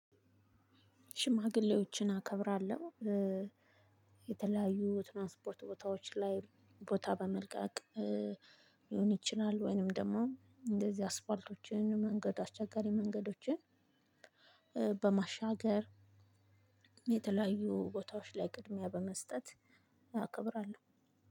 ሽማግሌዎችን አከብራለሁ። የተለያዩ ትራንስፖርት ቦታዎች ላይ ቦታ በመልቀቅ ሊሆን ይችላል። ወይንም ደግሞ እንደዚህ አስፓልቶችን መንገድ አስቸጋሪ መንገዶችን። በማሻገር የተለያዩ ቦታዎች ላይ ቅድሚያ በመስጠት አከብራለሁ።